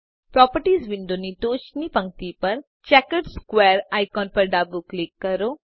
properties વિન્ડોની ટોચની પંક્તિ પર ચેકર્ડ સ્ક્વેર આઇકોન પર ડાબું ક્લિક કરો